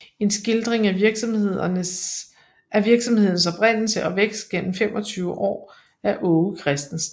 En Skildring af Virksomhedens Oprindelse og Vækst gennem 25 Aar af Aage Christensen